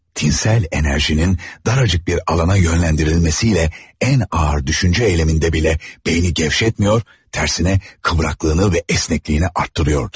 Tinsel enerjinin daracık bir alana yönləndirilməsiylə ən ağır düşüncə eyleminde belə beyni gevşetmiyor, tərsine kıvraklığını və esnekliyini artırıyordu.